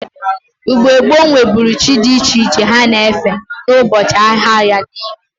Igno gboo nweburu chi di iche ha na-efe n'ubochi ahia ha niile.